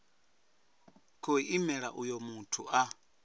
khou imela uyo muthu a